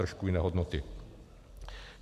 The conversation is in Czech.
Trošku jiné hodnoty.